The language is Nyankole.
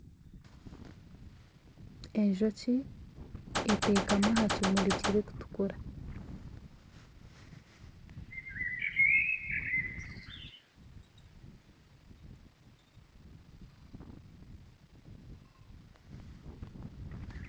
Enjoki eteekami aha kimuri kirikutukura.